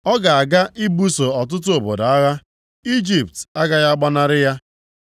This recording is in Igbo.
Ọ ga-aga ibuso ọtụtụ obodo agha, Ijipt agaghị agbanarị ya.